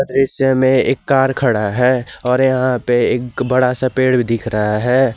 दृश्य में एक कार खड़ा है और यहां पे एक बड़ा सा पेड़ दिख रहा है।